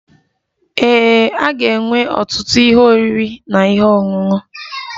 Ee, a ga-enwe ọtụtụ ihe oriri na ihe ọṅụṅụ.